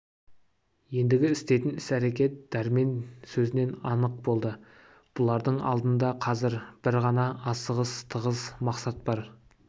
ендігі істейтін іс-әрекет дәрмен сөзінен анық болды бұлардың алдында қазір бір ғана асығыс тығыз мақсат бар